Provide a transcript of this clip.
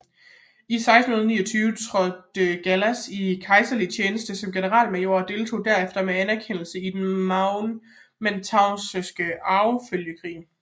I 1629 trådte Gallas i kejserlig tjeneste som generalmajor og deltog derefter med anerkendelse i den Mantuanske arvefølgekrig